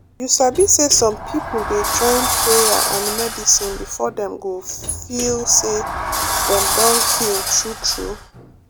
you sabi say some people dey join prayer and medicine before dem go feel say dem don heal true true.